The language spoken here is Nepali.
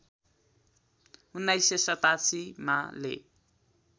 १९८७ मा ले